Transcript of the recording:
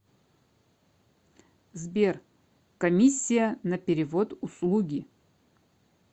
сбер комиссия на перевод услуги